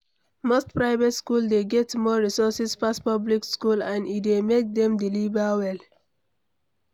Most private school dey get more resources pass public school and e dey make dem deliver well